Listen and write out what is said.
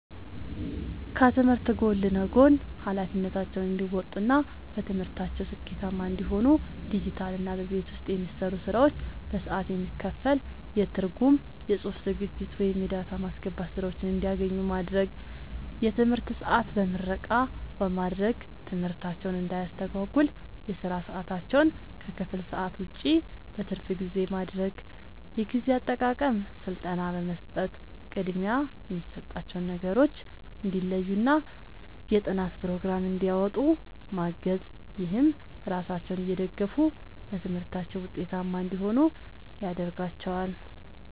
ከትምህርት ጎን ለጎን ኃላፊነታቸውን እንዲወጡ እና በትምህርታቸው ስኬታማ እንዲሆኑ ዲጂታልና በቤት ውስጥ የሚሰሩ ስራዎች በሰዓት የሚከፈል የትርጉም፣ የጽሑፍ ዝግጅት ወይም የዳታ ማስገባት ሥራዎችን እንዲያገኙ ማድረግ። የትምህርት ሰዓት በምረቃ በማድረግ ትምህርታቸውን እንዳያስተጓጉል የሥራ ሰዓታቸውን ከክፍል ሰዓት ውጭ (በትርፍ ጊዜ) ማድረግ። የጊዜ አጠቃቀም ሥልጠና በመስጠት ቅድሚያ የሚሰጣቸውን ነገሮች እንዲለዩና የጥናት ፕሮግራም እንዲያወጡ ማገዝ። ይህም ራሳቸውን እየደገፉ በትምህርታቸው ውጤታማ እንዲሆኑ ያደርጋቸዋል።